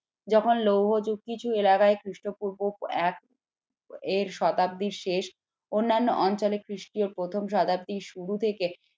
যখন লৌহ যুগ কিছু এলাকায় খ্রিস্টপূর্ব এক এর শতাব্দীর শেষ অন্যান্য অঞ্চলে খ্রিস্টীয় প্রথম শতাব্দীর শুরু থেকে